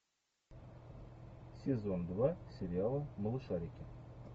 сезон два сериала малышарики